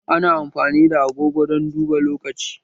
Ana amfani da agogo don duba lokaci